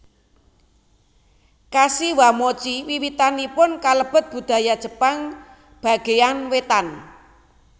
Kashiwamochi wiwitanipun kalebet budaya Jepang bagéyan wétan